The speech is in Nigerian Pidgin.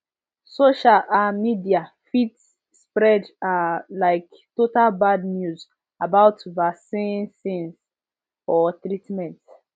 social ah media fit spread ah like total bad news about vacicines or treatment